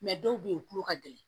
dɔw bɛ yen u tulo ka gɛlɛn